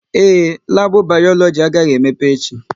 Ee, labu Bayoloji agaghị emepe echi